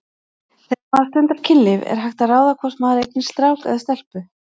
Þegar maður stundar kynlíf er hægt að ráða hvort maður eignast strák eða stelpu?